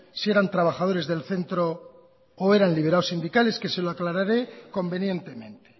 sí eran trabajadores del centro o eran liberados sindicales que se lo aclararé convenientemente